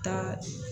Taa